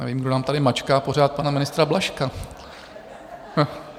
Nevím, kdo nám tady mačká pořád pana ministra Blažka?